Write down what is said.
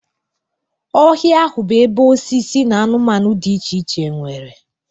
Ọhịa ahụ bụ ebe osisi na anụmanụ dị iche iche nwere.